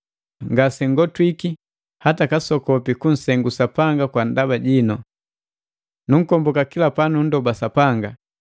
ngasengotwiki hata kasokopi kunsengu Sapanga kwa ndaba jinu. Nunkomboka kila panunndoba Sapanga,